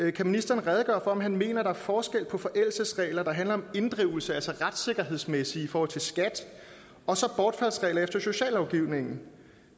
er kan ministeren redegøre for om han mener at der er forskel på forældelsesregler der handler om inddrivelse altså retssikkerhedsmæssigt i forhold til skat og så bortfaldsregler efter sociallovgivningen